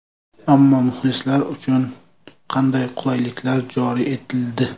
Ammo muxlislar uchun qanday qulayliklar joriy etildi?